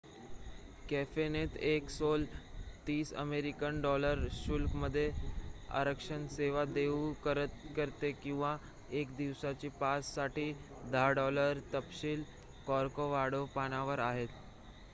कॅफेनेत El Sol 30 American $ शुल्कामध्ये आरक्षण सेवा देऊ करते किंवा 1 दिवसाच्या पास साठी 10 $; तपशील कॉर्कॉवाडो पानावर आहेत